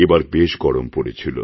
এবার বেশ গরম পড়েছিল